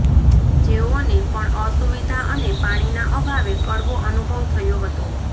જેઓને પણ અસુવિધા અને પાણીના અભાવે કડવો અનુભવ થયો હતો